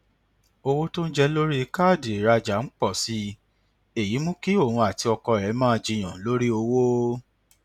owó tó ń jẹ lórí káàdì ìrajà ń pọ sí i èyí mú kí òun àti ọkọ rẹ máa jiyàn lórí owó